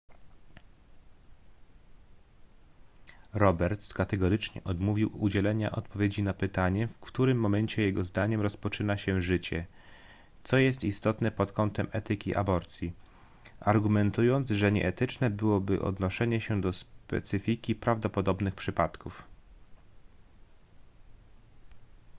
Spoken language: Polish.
roberts kategorycznie odmówił udzielenia odpowiedzi na pytanie w którym momencie jego zdaniem rozpoczyna się życie co jest istotne pod kątem etyki aborcji argumentując że nieetyczne byłoby odnoszenie się do specyfiki prawdopodobnych przypadków